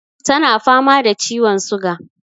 Tana fama da ciwon suga.